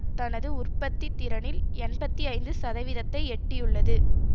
தனது உற்பத்தித்திறனில் எண்பத்தி ஐந்து சதவீதத்தை எட்டியுள்ளது